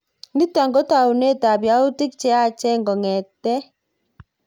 Nitok kotounet ab yautik cheyaach kongetkei.